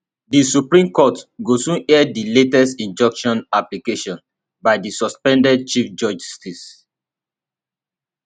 di supreme court go soon hear di latest injunction application by di suspended chief justice